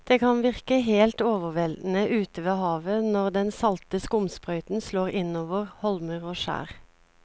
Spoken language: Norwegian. Det kan virke helt overveldende ute ved havet når den salte skumsprøyten slår innover holmer og skjær.